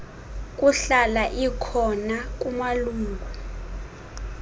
kuhlala ikhona kumalungu